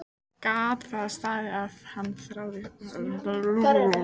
Gat það staðist að hann þráði hana svona mikið?